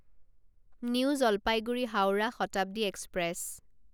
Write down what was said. new Jalpaiguri Howrah Shatabdi express